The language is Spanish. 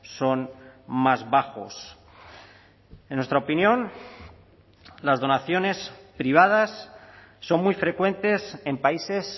son más bajos en nuestra opinión las donaciones privadas son muy frecuentes en países